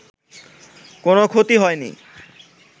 কোনো ক্ষতি হয়নি